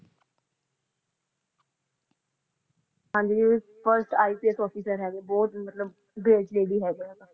ਹਾਂਜੀ ਜਿਹੜੇ first IPS officer ਹੈਗੇ ਬਹੁਤ ਮਤਲਬ brave lady ਹੈਗੇ ਨੇ